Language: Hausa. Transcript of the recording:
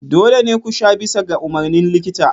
Dole ne ku sha bisa ga umarnin likita.